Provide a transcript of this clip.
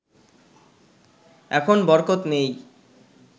এখন বরকত নেই